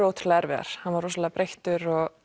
ótrúlega erfiðar hann var rosalega breyttir og